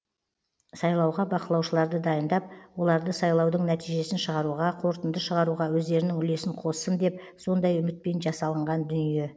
сайлауға бақылаушыларды дайындап оларды сайлаудың нәтижесін шығаруға қорытынды шығаруға өздерінің үлесін қоссын деп сондай үмітпен жасалынған дүние